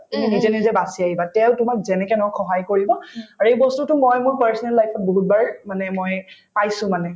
তুমি নিজে নিজে বাচি আহিবা তেওঁ তোমাক যেনেকে নহওক সহায় কৰিব আৰু এই বস্তুতো মই মোৰ personal life ত বহুত বাৰ মানে মই পাইছো মানে